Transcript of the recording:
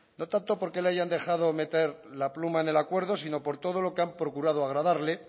no tanto porque le hayan dejado meter la pluma en el acuerdo sino por todo lo que han procurado agradarle